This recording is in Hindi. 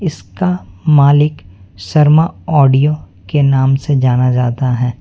इसका मालिक शर्मा ऑडियो के नाम से जाना जाता है।